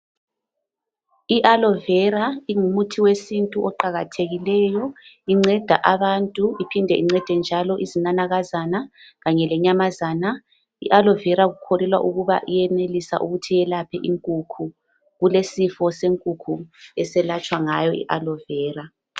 Inhlaba ingumuthi wesintu oqakathekileyo. Incenda abantu iphinde incede njalo izinanakazana lenyamazana. Inhlaba kukholelwa ukuthi iyenelisa ukwelapha inkukhu. Kulesifo senkukhu eselatshwa ngayo.